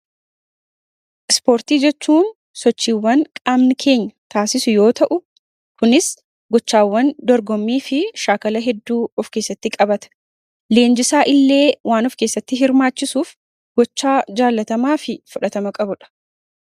Ispoortii jechuun sochiiwwan qaamni keenya taasisu yoo ta'u, kunis gochaawwan dorgommii fi shaakala hedduu of keessatti qabata. Leenjisaa illee waan of keessatti hirmaachisuuf gocha jaallatamaa fi fudhatama qabudha.